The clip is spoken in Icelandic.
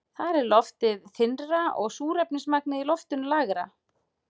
Þar er loftið þynnra og súrefnismagnið í loftinu lægra.